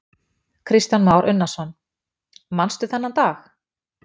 Kristján Már Unnarsson: Manstu þennan dag?